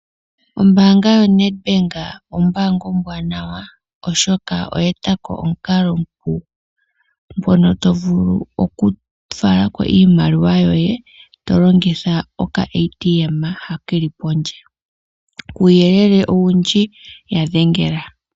Ombaanga yoNedbank ombaanga ombwanawa, oshoka oya etako omukalo omupu ngono tovulu oku falako iimaliwa yoye tolongitha okashina hoka keli pondje. Kuuyelele owundji yadhengela.